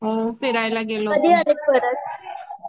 हो फिरायला गेलो होतो. कधी आल्यात परत